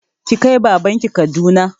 Ki kai baban ki Kaduna!